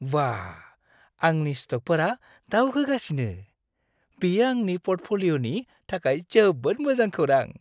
बाह! आंनि स्तकफोरा दावखोगासिनो! बेयो आंनि प'र्टफलिय'नि थाखाय जोबोद मोजां खौरां।